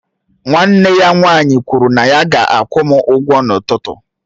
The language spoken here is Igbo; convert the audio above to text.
Nwanne ya nwaanyị kwụrụ na ya ga-akwụ m ụgwọ n'ụtụtụ